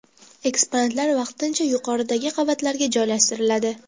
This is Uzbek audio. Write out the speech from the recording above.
Eksponatlar vaqtincha yuqoridagi qavatlarga joylashtiriladi.